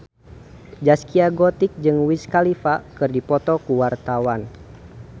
Zaskia Gotik jeung Wiz Khalifa keur dipoto ku wartawan